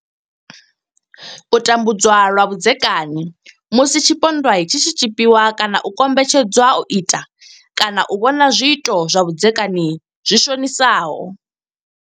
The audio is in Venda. U tambudzwa lwa vhudzekani musi tshipondwa tshi tshi tshipiwa kana u kombetshed zwa u ita kana u vhona zwiito zwa vhudzekani zwi shonisaho.